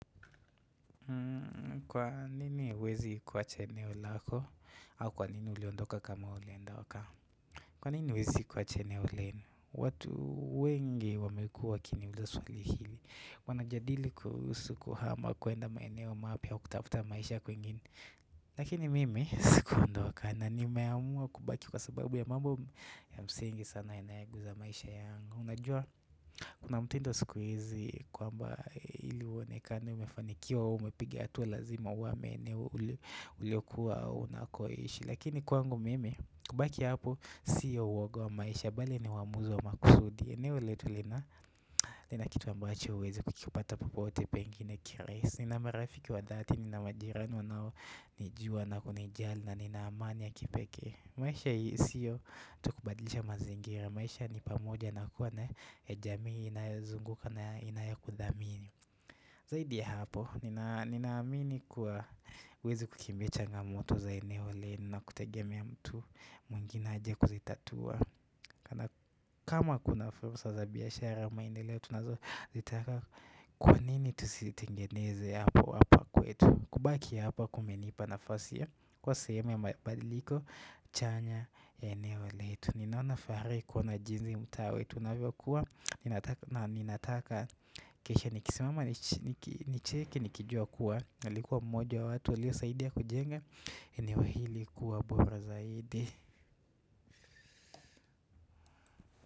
Kwa nini huwezi kuwacha eneo lako, au kwa nini uliondoka kama uliondoka? Kwa nini huwezi kuwacha eneo lenu? Watu wengi wamekua wakiniuliza swali hili. Wanajadili kuhusu kuhama kwenda maeneo mapya au kutafuta maisha kwengine Lakini mimi sikuondoka na nimeamua kubaki kwa sababu ya mambo ya msingi sana yanayoguza maisha yangu. Unajua? Kuna mtindo siku hizi kwamba ili uonekane umefanikiwa au umepiga hatua lazima uhame uliokuwa unakoishi Lakini kwangu mimi kubaki hapo siyo uoga wa maisha bali ni uamuzi wa makusudi eneo letu lina nina kitu ambacho huwezi kukipata popote pengine kirahisi Nina marafiki wa dhati nina majirani wanao nijua na kuni jali na nina amani ya kipekee maisha hii siyo tu kubadilisha mazingira maisha ni pamoja na kuwa na jamii inayozunguka na inayokudhamini Zaidi ya hapo, ninaamini kuwa huwezi kukimbia changa moto za eneo lenu na kutegema mtu mwingine aje kuzitatua Kana kama kuna fursa za biashara au maendeleo tunazo zitaka kwa nini tu sitengeneze hapo hapa kwetu kubaki hapa kumenipa nafasi ya kuwa sehemu ya mabadiliko chanya ya eneo letu Ninaonafahari kuona jinsi mtaa wetu unavyo kua na ninataka kisha nikisimama nicheke nikijua kuwa Nilikuwa mmoja wa watu waliosaidia kujenga eneo hili kuwa bora zaidi.